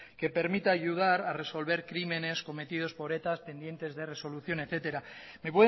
que permita ayudar a resolver crímenes cometidos por eta pendientes de resolución etcétera me